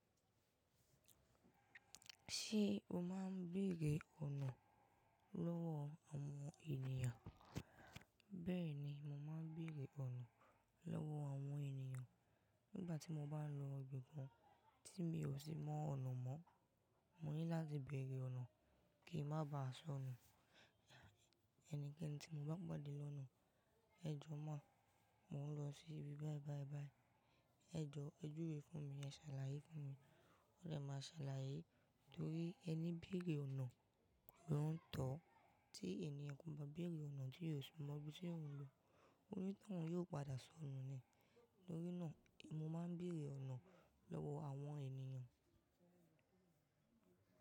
Ṣé o máa ń béèrè ọ̀nà lọ́wọ́ àwọn ènìyàn? Bẹ́ẹ̀ni, mo máa ń béèrè ọ̀nà lọ́wọ́ àwọn ènìyàn. Nígbà tí mo bá lọ ibì kan tí mi ò sì mọ ọ̀nà mọ́, mo ní láti béèrè ọ̀nà kí n má ba à sọnù. Ẹnikẹ́ni tí mo bá pàdé lọ́nà, "ẹ jọ̀ọ́ máa, mò ń lọ sí ibi báìbàìbàì, ẹ jọ̀ọ́ ẹ dúró fún mi, ẹ ṣàlàyé fún mi." Ó dè máa ṣàlàyé torí ẹni béèrè ọ̀nà ló ń tọ̀. Tí ènìyàn kò bá béèrè ọ̀nà tí ò sí mọ ibi tí ò ń lọ, oni tòun yóò padà sọnù ni. Lórí náà, mo máa ń béèrè ọ̀nà lọ́wọ́ àwọn ènìyàn.